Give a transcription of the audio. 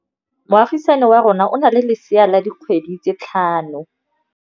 Moagisane wa rona o na le lesea la dikgwedi tse tlhano.